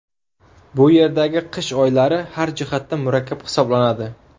Bu yerdagi qish oylari har jihatdan murakkab hisoblanadi.